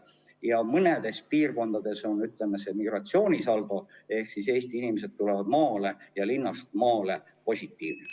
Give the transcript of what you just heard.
Ja mõnes piirkonnas on migratsioonisaldo positiivne, st Eesti inimesed tulevad linnast maale elama.